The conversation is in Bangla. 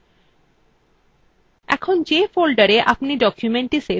এখন যে folderএ আপনি documentthe সেভ করেছেন সেই খুঁজে নিন